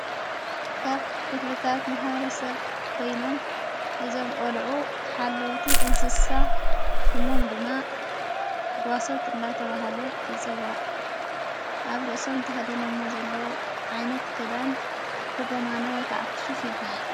ካብ ክፍድታት መሃረሰብ ኮይኖም እዞም ቈልዑ ሓለዉቲ እንስሳ ሽሞም ድማ ጓሶት እንዳተብሃለ ይጽዋዕ ኣብ ርእሶም ተኸዲኖ እሞ ዘለዉ ዓይነት ገዳን ሽጎማነ ወይከዓ ክሹፍ ይበሃል።